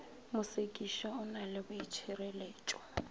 mosekišwa o na le boitšhireletšo